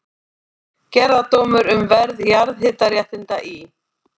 Gerðardómur um verð jarðhitaréttinda í